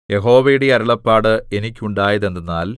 യഹോവയുടെ അരുളപ്പാട് എനിക്കുണ്ടായത് എന്തെന്നാൽ